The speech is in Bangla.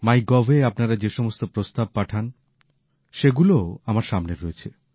মাই গভ এ আপনারা যে সমস্ত প্রস্তাব পাঠান সেগুলোও আমার সামনে রয়েছে